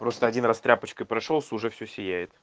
просто один раз тряпочкой прошёлся уже все сияет